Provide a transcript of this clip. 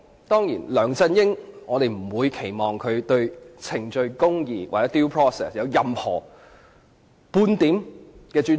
當然，我們不會期望梁振英對程序公義或 "due process" 有任何或半點尊重。